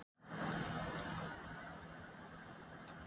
Gerðu það nú fyrir mig, Hemmi, að hætta að hugsa um þetta fyrirtæki í bili.